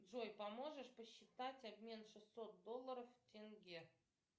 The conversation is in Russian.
джой поможешь посчитать обмен шестьсот долларов в тенге